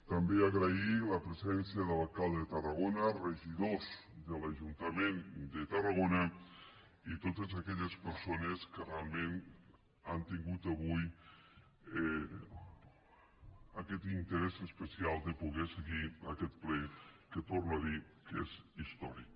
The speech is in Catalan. també agrair la presència de l’alcalde de tarragona regidors de l’ajuntament de tarragona i totes aquelles persones que realment han tingut avui aquest interès especial de poder seguir aquest ple que torno a dir que és històric